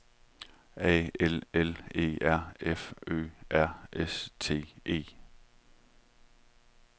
A L L E R F Ø R S T E